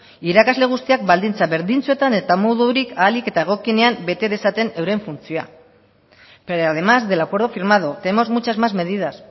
irakasle guztiak baldintza berdintsuetan eta modurik ahalik eta egokienean bete dezaten euren funtzioa pero además del acuerdo firmado tenemos muchas más medidas